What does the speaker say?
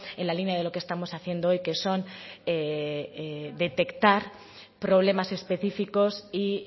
en la línea de lo que estamos haciendo hoy que son detectar problemas específicos y